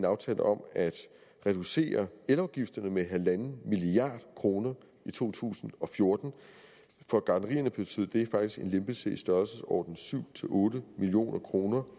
aftale om at reducere elafgifterne med en milliard kroner i to tusind og fjorten for gartnerierne betød det faktisk en lempelse i størrelsesordenen syv otte million kroner